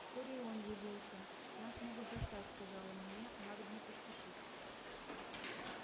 вскоре и он явился нас могут застать сказал он мне надобно поспешить